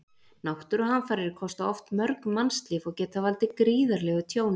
Náttúruhamfarir kosta oft mörg mannslíf og geta valdið gríðarlegu tjóni.